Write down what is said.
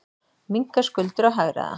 Minnka skuldir og hagræða.